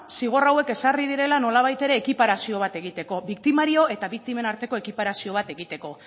zigor hauek ezarri direla nolabait ere ekiparazio bat egiteko biktimario eta biktimen arteko ekiparazio bat egiteko